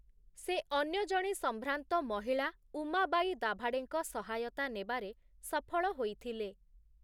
ସେ ଅନ୍ୟ ଜଣେ ସମ୍ଭ୍ରାନ୍ତ ମହିଳା ଉମାବାଇ ଦାଭାଡେଙ୍କ ସହାୟତା ନେବାରେ ସଫଳ ହୋଇଥିଲେ ।